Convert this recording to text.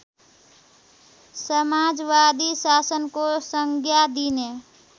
समाजवादी शासनको संज्ञा दिने